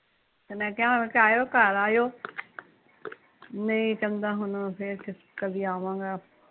ਤੇ ਮੈਂ ਕਿਹਾ ਹੁਣ ਏਥੇ ਆਏ ਓ ਘਰ ਆਈਓ, ਨਹੀਂ ਕਹਿਦਾ ਫੇਰ ਦੀ ਆਵਾਂਗਾ